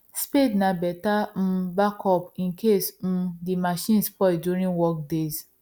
spade na better um backup incase um the machines spoil during work days